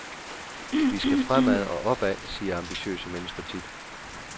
Vi skal fremad og opad, siger ambitiøse mennesker tit.